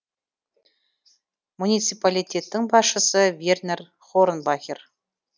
муниципалитеттің басшысы вернер хорнбахер